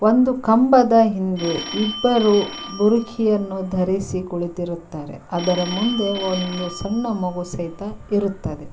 ಒಂದು ಕಂಬದ ಹಿಂದೆ ಇಬ್ಬರು ಭೂರುಕಿಯನ್ನು ಧರಿಸಿ ಕುಳಿತಿರುತ್ತಾರೆ ಅದರ ಮುಂದೆ ಒಂದು ಸಣ್ಣ ಮಗು ಸಹಿತ ಇರುತ್ತದೆ.